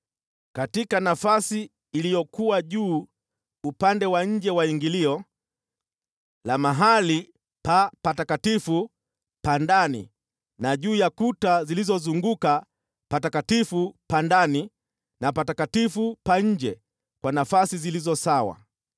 Katika nafasi iliyokuwa juu ya upande wa nje wa ingilio la sehemu takatifu ya ndani, na katika kuta zilizozunguka sehemu takatifu ya ndani na sehemu takatifu ya nje, kwa nafasi zilizo sawa,